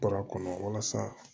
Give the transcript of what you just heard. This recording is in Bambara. Bɔra kɔnɔ walasa